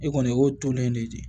I kɔni o y'o tonnen de ye de